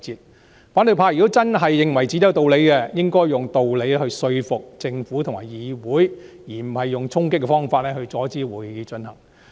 如果反對派真的認為自己有道理，就應該用道理說服政府和議會，而非用衝擊的方法，阻止會議進行。